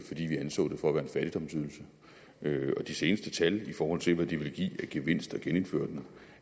fordi vi anså det for at være en fattigdomsydelse og de seneste tal i forhold til hvad det ville give af gevinst at genindføre den